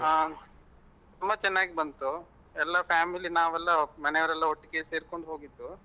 ಹ ತುಂಬಾ ಚೆನ್ನಾಗಿ ಬಂತು ಎಲ್ಲ family ನಾವೆಲ್ಲ ಮನೆಯವರೆಲ್ಲ ಒಟ್ಟಿಗೆ ಸೇರ್ಕೊಂಡ್ ಹೋಗಿದ್ದು.